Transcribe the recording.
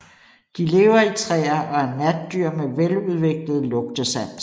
De lever i træer og er natdyr med veludviklet lugtesans